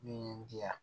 Min ye n di yan